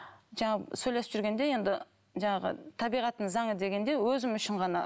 жаңағы сөйлесіп жүргенде енді жаңағы табиғаттың заңы дегендей өзім үшін ғана